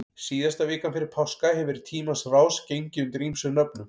Síðasta vikan fyrir páska hefur í tímans rás gengið undir ýmsum nöfnum.